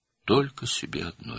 Yalnız tək özünə.